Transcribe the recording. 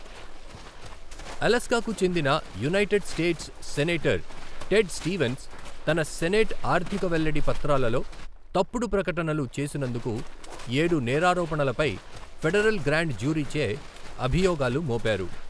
అలాస్కాకు చెందిన United States senator Ted Stevens తన senate ఆర్థిక వెల్లడి పాత్రలలో తప్పుడు ప్రకటనలు చేసినందుకు ఏడు నేరారోపణలపై ఫెడరల్ గ్రాండ్ జ్యూరీచే అభియోగాలు మోపారు.